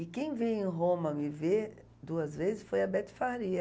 E quem veio em Roma me ver duas vezes foi a Beth Faria.